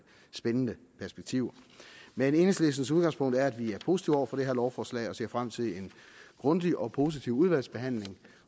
spændende perspektiver men enhedslistens udgangspunkt er at vi er positive over for det her lovforslag og ser frem til en grundig og positiv udvalgsbehandling